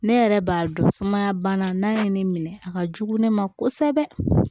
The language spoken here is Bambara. Ne yɛrɛ b'a dɔn sumaya bana n'a ye ne minɛ a ka jugu ne ma kosɛbɛ